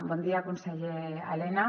bon dia conseller elena